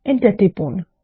Enter টিপুন